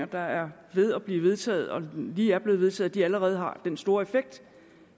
der er ved at blive vedtaget og lige er blevet vedtaget allerede har den store effekt